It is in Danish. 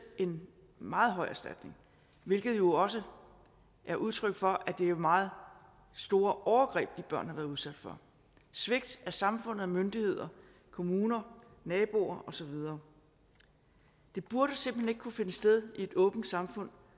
en meget høj erstatning hvilket jo også er udtryk for at det er meget store overgreb de børn har været udsat for svigtet af samfundet myndigheder kommuner naboer og så videre det burde simpelt hen ikke kunne finde sted i et åbent samfund